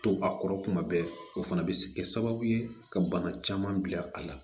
To a kɔrɔ kuma bɛɛ o fana bɛ se kɛ sababu ye ka bana caman bila a la